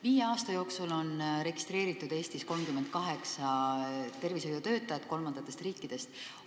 Viie aasta jooksul on Eestis registreeritud 38 tervishoiutöötajat kolmandatest riikidest.